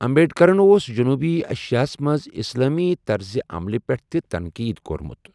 امبیڈکرَن اوس جنوٗبی ایشیاہَس منٛز اسلٲمی طرزِ عملہِ پٮ۪ٹھ تہِ تنقید کوٚرمُت۔